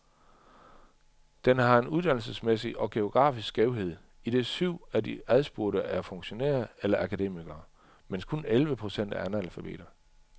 Den har en uddannelsesmæssig og geografisk skævhed, idet syv et af de adspurgte er funktionærer eller akademikere, mens kun elleve procent er analfabeter.